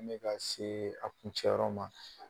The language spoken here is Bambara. An bɛ ka se a kuncɛ yɔrɔ ma